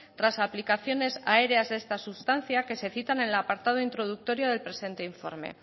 tras aplicaciones aéreas de esta sustancia que se citan en el apartado introductorio del presente informe